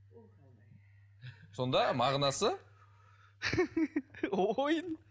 сонда мағынасы ойын